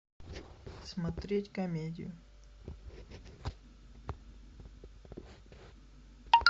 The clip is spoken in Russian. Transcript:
смотреть комедию